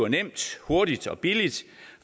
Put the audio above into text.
nemt hurtigt og billigt